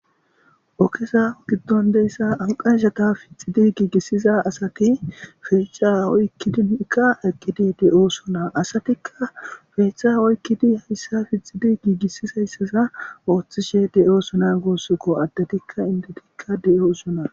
okesa giddon deyssa amqanshata fixidi giigissiza asati feeca oykkidinkka eqkidi de7o sona asatikka feechcha oykkidi hayssa fixidi giigissis hayssaza ooththishe de7o sona goossoko addetikka intetiikka de7o usona